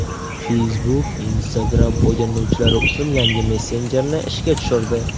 Facebook Instagram foydalanuvchilari uchun yangi messenjerni ishga tushirdi.